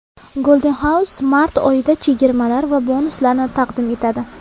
Golden House mart oyida chegirmalar va bonuslarni taqdim etadi!.